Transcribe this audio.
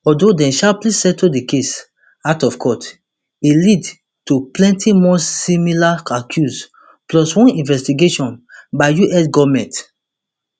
although dem sharply settle di case out of court e lead to plenty more similar accuse plus one investigation by us goment